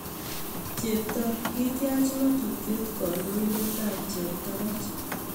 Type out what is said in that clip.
Cheptoo:ketyach ngatutiet kandoindetab cheptabach